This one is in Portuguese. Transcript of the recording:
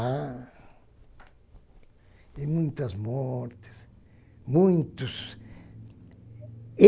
Há e muitas mortes, muitos.